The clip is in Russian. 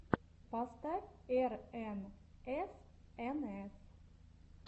поставь эрэнэсэнэс